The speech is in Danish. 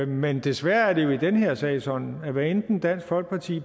men desværre er det jo i den her sag sådan at hvad enten dansk folkeparti